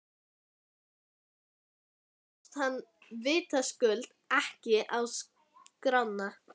Samkomuhúsið komst hann vitaskuld ekki á skrána.